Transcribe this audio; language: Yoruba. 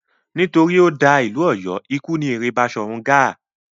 Nítorí ó da ìlú Ọ̀yọ́, ikú ni èrè Baṣọ̀run Gáà.